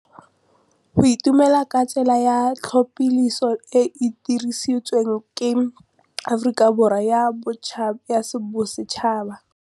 Go itumela ke tsela ya tlhapolisô e e dirisitsweng ke Aforika Borwa ya Bosetšhaba.